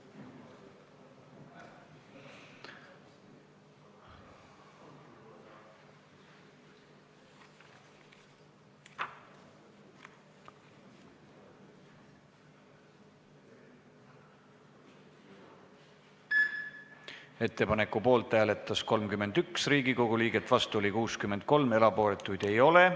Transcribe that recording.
Hääletustulemused Ettepanku poolt hääletas 31 Riigikogu liiget, vastu oli 63, erapooletuid ei ole.